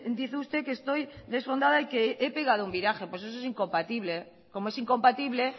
dice usted que estoy desfondada y que he pegado un viraje pues eso es incompatible como es incompatible